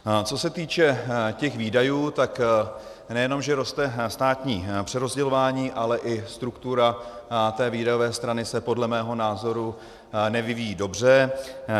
Co se týče těch výdajů, tak nejenom že roste státní přerozdělování, ale i struktura té výdajové strany se podle mého názoru nevyvíjí dobře.